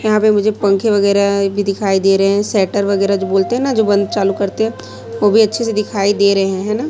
यहां पे मुझे पंखे वगैरा भी दिखाई दे रहे है सैटर वगैरा जो बोलते है न जो बंद चालू करते है वो भी अच्छे से दिखाई दे हैं न।